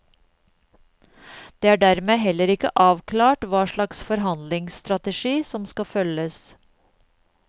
Det er dermed heller ikke avklart hva slags forhandlingsstrategi som skal følges.